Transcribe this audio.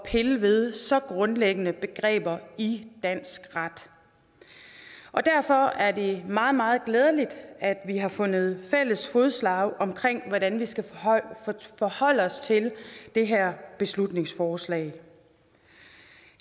at pille ved så grundlæggende begreber i dansk ret og derfor er det meget meget glædeligt at vi har fundet fælles fodslag om hvordan vi skal forholde os til det her beslutningsforslag